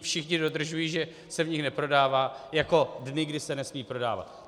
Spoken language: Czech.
všichni dodržují, že se v nich neprodává, jako dny, kdy se nesmí prodávat.